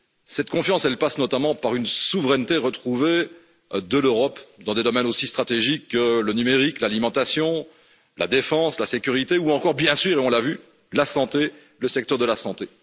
Cette confiance passe notamment par une souveraineté retrouvée de l'Europe, dans des domaines aussi stratégiques que le numérique, l'alimentation, la défense, la sécurité ou encore, bien sûr et on l'a vu, la santé, le secteur de la santé.